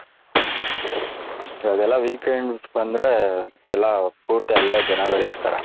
ಇವಗೆಲ್ಲ weekends ಬಂದ್ರೆ ಎಲ್ಲ ಪೂರ್ತಿ ಜನಗಳು ಇರ್ತಾರೆ ,